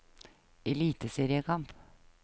eliteseriekamp